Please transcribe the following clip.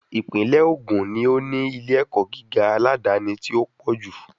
Ìpínlè Ògùn ni ó ní ilé ẹ̀kọ́ gíga aládáni tí o pọ ju